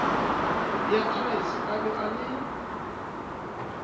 beatrice a be a le